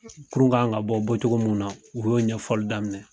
Kurun kan ka bɔ bɔcogo min na u y'o ɲɛfɔli daminɛ.